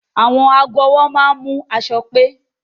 Àwọn aago ọwọ́ máa ń mú aṣọ pé